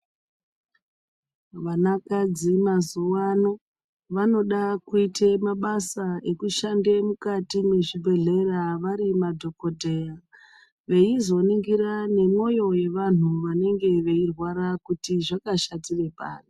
Vankadzi mazuwano vanode kuita mabasa ekushande mukati mezvibhedhlera vari madhokodheya veizoningira nemwoyo wevanhu vanenge veirwara kuti zvakashatira pari.